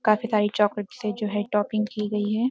काफी सारी चॉकलेट से जो है टॉपिंग की गई है।